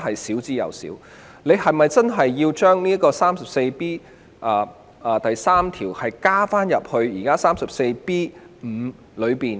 當局是否真的要將第 34B3 條的情況納入現有第 34B5 條呢？